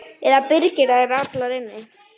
Eða byrgir þær allar inni.